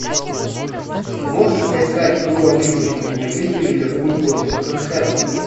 можешь поискать игру английской премьер лиги ливерпуль против тоттенхэма